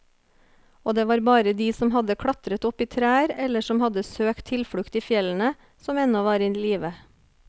Og det var bare de som hadde klatret opp i trær eller som hadde søkt tilflukt i fjellene, som ennå var i live.